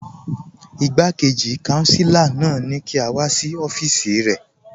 Ìgbàkéjì kànsílà náà ni kí a wà sí ọfíìsì rẹ.